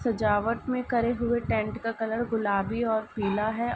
सजावट में करे हुए टेंट का कलर गुलाबी और पीला है।